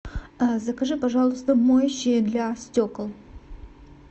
закажи пожалуйста моющее для стекол